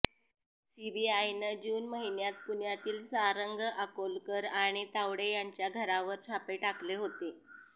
सीबीआयनं जून महिन्यात पुण्यातील सारंग अकोलकर आणि तावडे यांच्या घरावर छापे टाकले होते